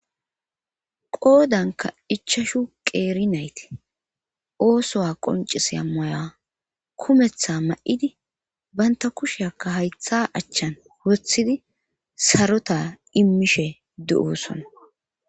qoodanka ichashu qeeri naytii oosowa qoncisa maya kumeththa ma7idi banta kusheaka haytha achchan wothidi sarota immishe de7osona